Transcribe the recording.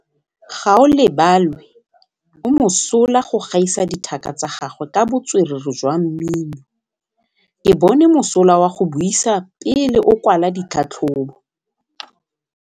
Gaolebalwe o mosola go gaisa dithaka tsa gagwe ka botswerere jwa mmino. Ke bone mosola wa go buisa pele o kwala tlhatlhobô.